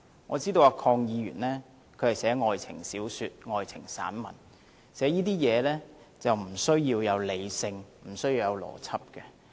我知道鄺議員寫愛情小說、愛情散文，寫這些東西不需要有理性，亦不需要有邏輯。